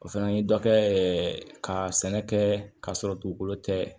O fana ye dɔ kɛ ka sɛnɛ kɛ k'a sɔrɔ dugukolo tɛ